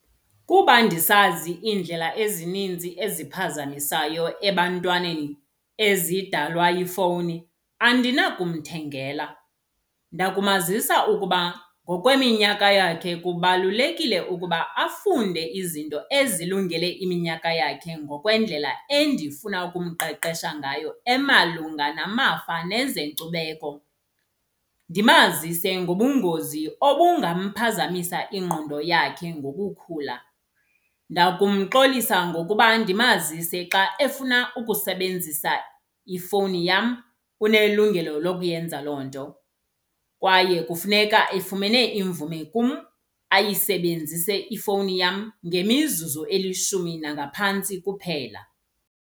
Kuba ndisazi iindlela ezininzi eziphazamisayo ebantwaneni ezidalwa yifowuni andinakumthengela. Ndakumazisa ukuba ngokweminyaka yakhe kubalulekile ukuba afunde izinto ezilungele iminyaka yakhe ngokwendlela endifuna ukumqeqesha ngayo emalunga namava nezenkcubeko. Ndimazise ngobungozi obungamphazamisa ingqondo yakhe ngokukhula. Ndakumxolisa ngokuba ndimazise xa efuna ukusebenzisa ifowuni yam unelungelo lokuyenza loo nto. Kwaye kufuneka efumene imvume kum ayisebenzise ifowuni yam ngemizuzu elishumi nangaphantsi kuphela.